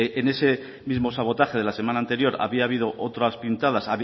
en ese mismo sabotaje de la semana anterior había habido otras pintadas